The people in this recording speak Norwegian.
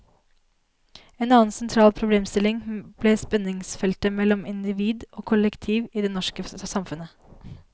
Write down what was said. En annen sentral problemstilling ble spenningsfeltet mellom individ og kollektiv i det norske samfunnet.